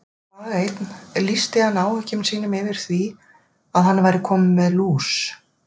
Dag einn lýsti hann áhyggjum sínum yfir því að hann væri kominn með lús.